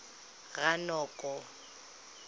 ranoko